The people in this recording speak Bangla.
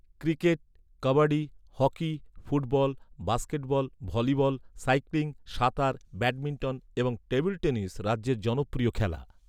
Cricket, kabaddi, hockey, football, basketball, volleyball, cycling, সাঁতার, ব্যাডমিন্টন এবং টেবিল টেনিস রাজ্যের জনপ্রিয় খেলা।